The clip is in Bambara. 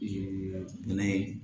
bɛnɛ